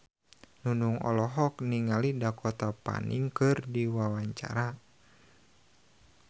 Nunung olohok ningali Dakota Fanning keur diwawancara